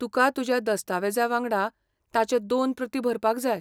तुका तुज्या दस्तावेजा वांगडा ताच्यो दोन प्रती भरपाक जाय.